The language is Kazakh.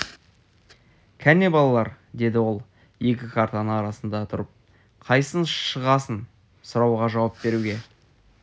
кәне балалар деді ол екі картаның арасында тұрып қайсың шығасың сұрауға жауап беруге